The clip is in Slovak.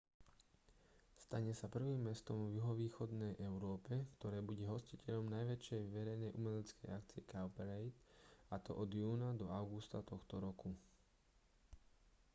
stane sa prvým mestom v juhovýchodnej európe ktoré bude hostiteľom najväčšej verejnej umeleckej akcie cowparade a to od júna do augusta tohto roku